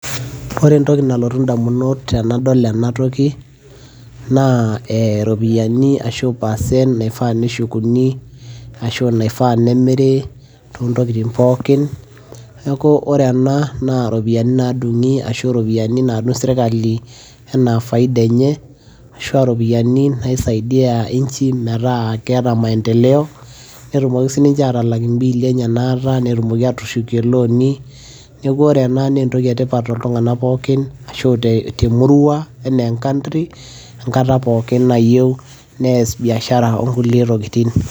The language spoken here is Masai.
ore entoki nalotu damunot tenadol ena toki, naa iropiyiani ashu percent naifaa neshukuni, ashu aa naifaa nemiri toontokitin pookin, neeku ore ena naa iropiyiani naadung'i, aashu iropiyiani naadung' sirkali anaa faida enye ashu aa iropiyiani naisaidia inchi metaa keeta maendeleo, netumoki sii ninche aatalak imbbili enye naata, netumoki aatushukie ilooni, neeku ore ena naa entoki etipat tooltunganak pookin, ashu emurua anaa e country enkata pookin nayieu nees biashara oonkulie tokitin.